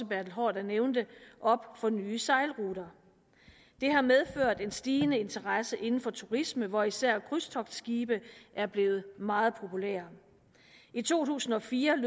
bertel haarder nævnte op for nye sejlruter det har medført en stigende interesse inden for turismen hvor især krydstogtskibe er blevet meget populære i to tusind og fire